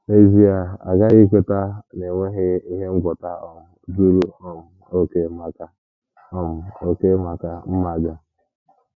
N’ezie, a ghaghị ikweta na e nweghị ihe ngwọta um zuru um okè maka um okè maka mmaja.